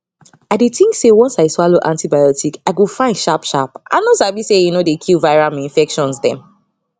i dey think say once i swallow antibiotic i go fine sharp sharp i no sabi say e no dey kill viral minfections dem